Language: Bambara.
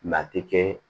Latikɛ